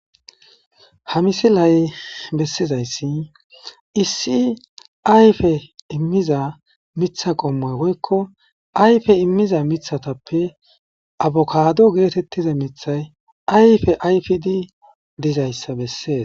Ha misilay bessizayssi issi ayfe immiza mitha qomma woykko ayfe immiza mithatappe abokado geetettiza mithay ayfe ayfidi dizayssa bessees.